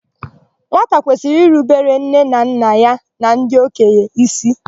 Nwata kwesịrị irubere nne na nna ya na ndị okenye ísí.